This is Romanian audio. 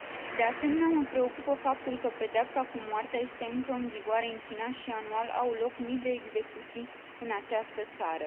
De asemenea, mă preocupă faptul că pedeapsa cu moartea este încă în vigoare în China și, anual, au loc mii de execuții în această țară.